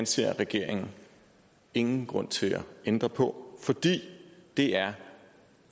ser regeringen ingen grund til at ændre på fordi det er